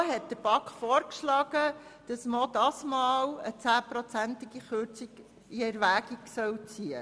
Die FiKo schlug der BaK vor, es sei auch dieses Mal eine Kürzung um 10 Prozent in Erwägung zu ziehen.